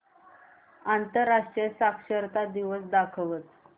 आंतरराष्ट्रीय साक्षरता दिवस दाखवच